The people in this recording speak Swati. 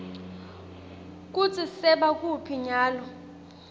kutsi sebakuphi nyalo